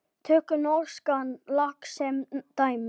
Tökum norskan lax sem dæmi.